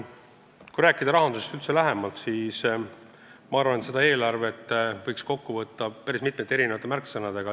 Kui rahandusest lähemalt rääkida, siis selle eelarve võiks kokku võtta päris mitme märksõnaga.